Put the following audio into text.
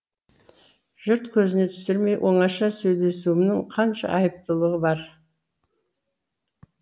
жұрт көзіне түсірмей оңаша сөйлесуімнің қанша айыптылығы бар